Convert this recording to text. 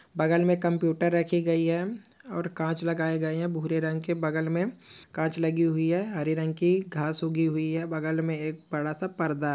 बगल में कंप्यूटर रखी गई है और कांच लगाए गए हैं भूरे रंग के बगल में कांच लगी हुई है हरे रंग की घास उगी हुई है बगल में एक बड़ा सा पर्दा--